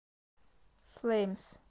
флэймс